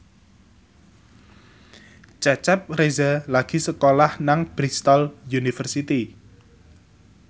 Cecep Reza lagi sekolah nang Bristol university